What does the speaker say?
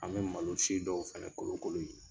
An bɛ malo si dɔw fana kolokolon yen.